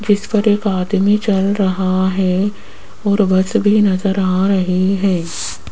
जिस पर एक आदमी चल रहा है और बस भी नजर आ रही है।